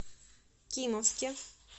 кимовске